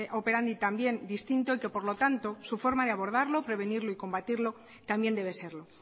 operandi también distinto y que por lo tanto su forma de abordarlo prevenirlo y combatirlo también debe serlo